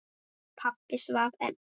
Pabbi svaf enn.